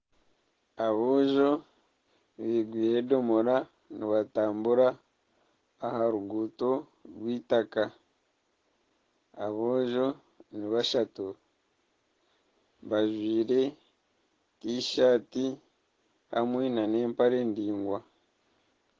Aboojo bekoreire edomora nibatambura aha ruguuto rw'eitaka aboojo nibashatu bajwaire tishati hamwe nana empare ndaingwa